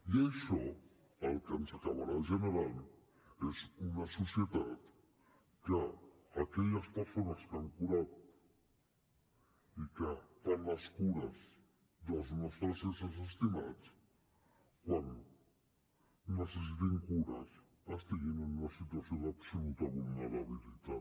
i això el que ens acabarà generant és una societat en què aquelles persones que han curat i que fan les cures dels nostres éssers estimats quan necessitin cures estiguin en una situació d’absoluta vulnerabilitat